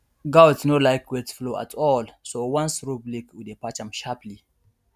goat no like wet floor at all so once roof leak we dey patch am sharperly